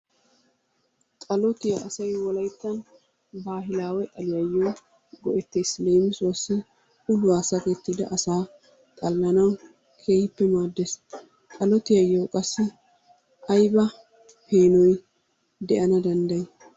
Xalotiya asay wolaytta baahilaawe ogiyan go'ettes. Leemisuwassi uluwa sakettida asaa xallanawu keehippe maaddes. Xalotiyayyoo qassi ayiba peenoy de'ana danddayi?